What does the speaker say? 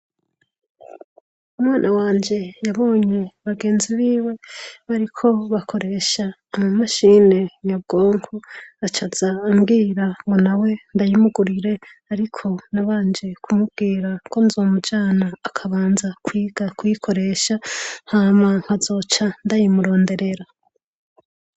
Umwana wanje yabonye bagenzi biwe bariko bakoresha ama mashine nyabwonko aca aza ambwira ngo nawe ndayimugurire ariko nabanje kumubwira ko nzomujana akabanza kwiga kuyikoresha hama nkazoca ndayimuronderera.